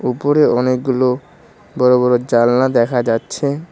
উপরে অনেকগুলো বড়ো বড়ো জালনা দেখা যাচ্ছে।